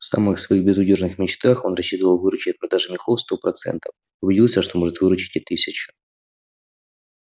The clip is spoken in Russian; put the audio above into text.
в самых своих безудержных мечтах он рассчитывал выручить от продажи мехов сто процентов а убедился что может выручить и тысячу